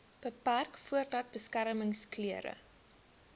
beperk voordat beskermingsklere